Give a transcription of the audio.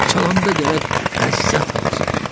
Çalanda gərək ləzzət alasan.